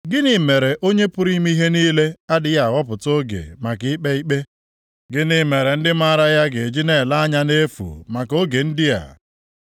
“Gịnị mere Onye pụrụ ime ihe niile adịghị ahọpụta oge maka ikpe ikpe? Gịnị mere ndị maara ya ga-eji na-ele anya nʼefu maka oge ndị a?